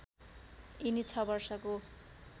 यिनी ६ वर्षको